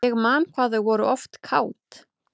Ég man hvað þau voru oft kát.